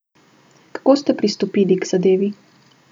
Kako ste pristopili k zadevi?